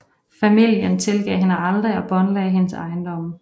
Familien tilgav hende aldrig og båndlagde hendes ejendomme